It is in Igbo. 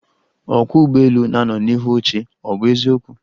Ọkwọ́ ụgbọelu na-anọ n'ihu oche, ọ bụ eziokwu?